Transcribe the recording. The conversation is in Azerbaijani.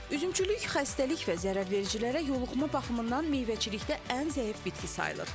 Üzümçülük xəstəlik və zərərvericilərə yoluxma baxımından meyvəçilikdə ən zəif bitki sayılır.